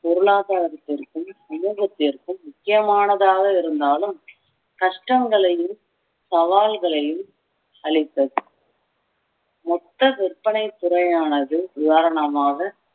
பொருளாதாரத்திற்கும் சமூகத்திற்கும் முக்கியமானதாக இருந்தாலும் கஷ்டங்களையும் சவால்களையும் அளித்தது மொத்த விற்பனை துறையானது நிவாரணமாக